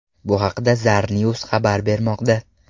Bu haqda Zarnews xabar bermoqda .